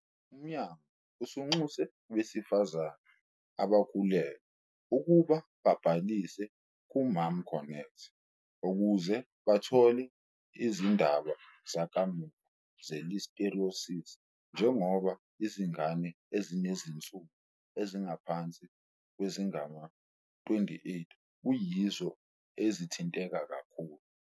Umnyango usunxuse abesifazane abakhulelwe ukuba babhalise kuMomConnect ukuze bathole izindaba zakamuva ze-Listeriosis njengoba izingane ezinezinsuku ezingaphansi kwezingama-28 kuyizo ezithinteka kakhulu.